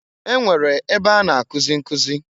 E nwere ebe a na-akụzị nkụzị.